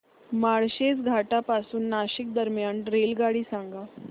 माळशेज घाटा पासून नाशिक दरम्यान रेल्वेगाडी सांगा